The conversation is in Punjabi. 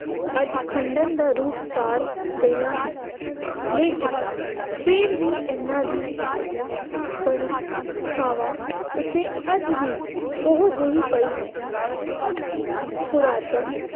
ਅੱਜ ਖੰਡਰ ਦਾ ਰੂਪ ਧਾਰ ਗਈਆਂ ਹਨ। ਲੇਕਿਨ ਫੇਰ ਵੀ ਇਹਨਾ ਦੀ ਸ਼ਾਨ ਬੜੀ ਥਾਵਾਂ ਉੱਤੇ ਅੱਜ ਵੀ ਉਹ ਜਿਹੀ ਪਈ ਹੈ। ਪੁਰਾਤਨ